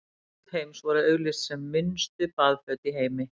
Baðföt Heims voru auglýst sem minnstu baðföt í heimi.